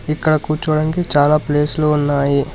ఇక్కడ కూర్చోవడానికి చాలా ప్లేస్ లు ఉన్నాయి.